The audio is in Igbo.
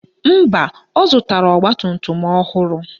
Mba, ọ zụtara ọgbatumtum ọhụrụ